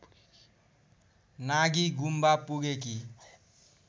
Nagi Gompa पुगेकी